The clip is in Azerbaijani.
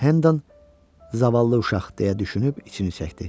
Hendan: "Zavallı uşaq" deyə düşünüb içini çəkdi.